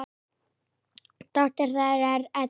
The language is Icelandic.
Dóttir þeirra er Edda.